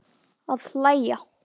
Að hlæja.